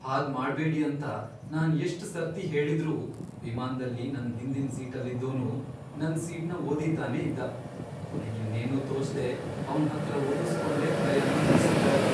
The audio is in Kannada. ಹಾಗ್ ಮಾಡ್ಬೇಡಿ ಅಂತ ನಾನ್ ಎಷ್ಟ್ ಸರ್ತಿ ಹೇಳಿದ್ರೂ ವಿಮಾನ್ದಲ್ಲಿ ನನ್ ಹಿಂದಿನ್ ಸೀಟಲ್ಲಿದ್ದೋನು ನನ್ ಸೀಟ್ನ ಒದಿತಾನೆ ಇದ್ದ, ಕೊನೆಗಿನ್ನೇನೂ ತೋಚ್ದೇ ಅವ್ನ್ ಹತ್ರ ಒದುಸ್ಕೊಂಡೇ ಪ್ರಯಾಣ ಮುಗ್ಸಿದ್ದಾಯ್ತು.